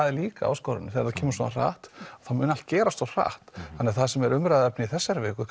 er líka áskorun þegar það kemur svona hratt þá mun allt gerast svo hratt þannig það sem er umræðuefni í þessari viku